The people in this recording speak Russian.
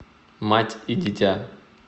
мать и дитя